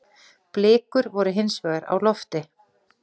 Blikur voru hinsvegar á lofti.